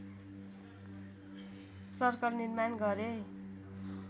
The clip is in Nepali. सर्कल निर्माण गरे